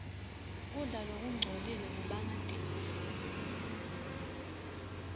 kudla lokungcolile kubangatifo